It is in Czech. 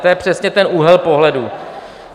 To je přesně ten úhel pohledu.